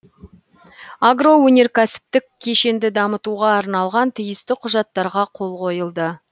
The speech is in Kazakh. агроөнеркәсіптік кешенді дамытуға арналған тиісті құжаттарға қол қойылды